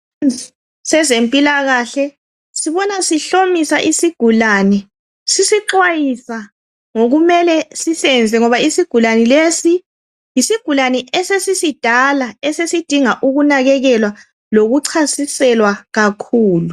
Sezempilakahle sibona sihlomisa isigulane sisixwayisa ngokumele sisenze ngoba isigulane lesi yisigilane esesisidala esidinga ukunakekelwa lokucasiselwa kakhulu